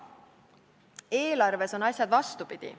Eelarves on asjad vastupidi.